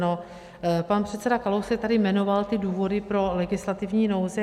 No, pan předseda Kalousek tady jmenoval ty důvody pro legislativní nouzi.